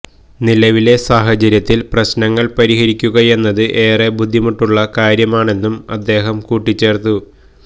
നിലവിലെ സാഹചര്യത്തില് പ്രശ്നങ്ങള് പരിഹരിക്കുകയെന്നത് ഏറെ ബുദ്ധിമുട്ടുള്ള കാര്യമാണെന്നും അദ്ദേഹം കൂട്ടിച്ചേര്ത്തു